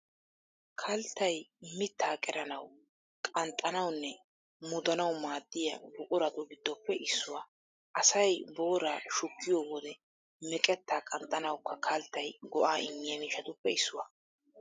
Kalttay mittaa qeranawu, qanxxanawunne mudanawu maaddiya buquratu giddoppe issuwaa. Asay booraa shukkiyo wode meqettaa qanxxanawukka kalttay go"aa immiya miishshatuppe issuwaa.